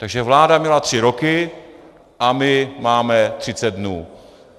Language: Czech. Takže vláda měla tři roky a my máme 30 dnů.